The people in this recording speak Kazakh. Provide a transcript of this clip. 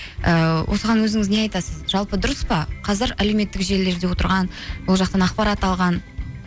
ііі осыған өзіңіз не айтасыз жалпы дұрыс па қазір әлеуметтік желілерде отырған ол жақтан ақпарат алған